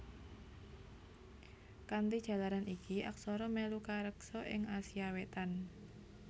Kanthi jalaran iki aksara mèlu kareksa ing Asia Wétan